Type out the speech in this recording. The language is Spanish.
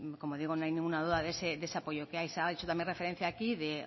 como digo no hay ninguna duda de ese apoyo que hay se ha hecho también referencia aquí de